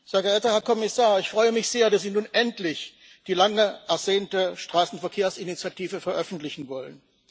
Frau Präsidentin, Herr Kommissar! Ich freue mich sehr, dass Sie nun endlich die lang ersehnte Straßenverkehrsinitiative veröffentlichen wollen.